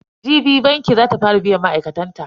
Jibi banki za ta fara biyan ma'aikatan ta.